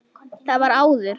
Það var áður.